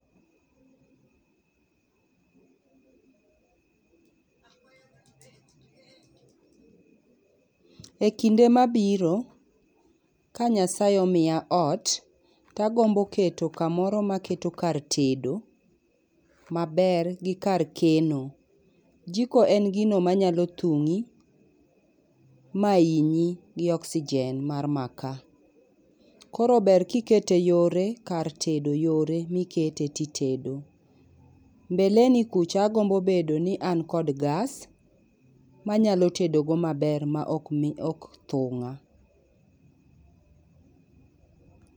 E kinde ma biro ka nyasae omia ot to agombo keto ka moro ma aketo kar tedo ma ber gi kar keno jiko en gino ma nyalo thungi ma hinyi gi oxygen mar makaa koro ber ka i kete yore kar tedo yore ma i kete to i tedo mbele ni kucha a gombo bedo ni an kod gas ma anyalo tedo go ma ber ma ok thunga